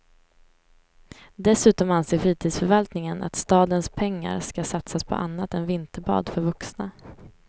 Dessutom anser fritidsförvaltningen att stadens pengar ska satsas på annat än vinterbad för vuxna.